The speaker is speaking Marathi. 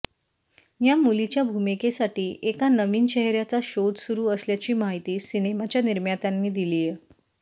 या मुलीच्या भूमिकेसाठी एका नविन चेहऱ्याचा शोध सुरू असल्याची माहिती सिनेमाच्या निर्मात्यांनी दिलीय